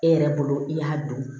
E yɛrɛ bolo i y'a don